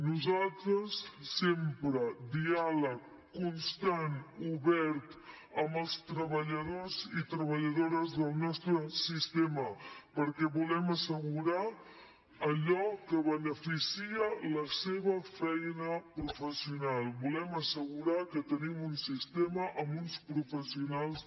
nosaltres sempre diàleg constant obert amb els treballadors i treballadores del nostre sistema perquè volem assegurar allò que beneficia la seva feina professional volem assegurar que tenim un sistema amb uns professionals